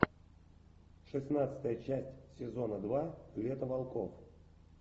шестнадцатая часть сезона два лето волков